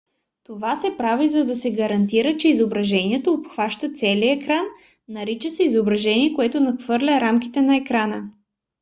това се прави за да се гарантира че изображението обхваща целия екран. нарича се изображение което надхвърля рамките на екрана